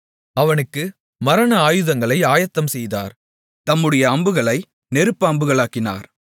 அவனுக்கு மரண ஆயுதங்களை ஆயத்தம் செய்தார் தம்முடைய அம்புகளை நெருப்பு அம்புகளாக்கினார்